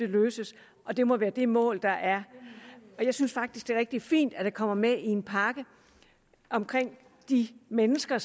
løses og det må være det mål der er jeg synes faktisk at det er rigtig fint at det kommer med i en pakke om de mennesker